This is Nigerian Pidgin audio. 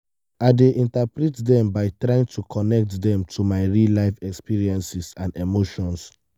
i dey interpret dem by trying to connect dem to my real-life experiences and emotions.